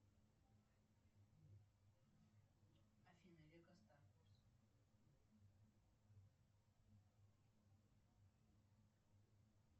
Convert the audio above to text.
афина